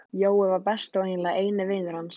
Jói var besti og eiginlega eini vinur hans.